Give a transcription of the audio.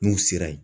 N'u sera yen